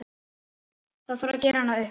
Það þarf gera hana upp.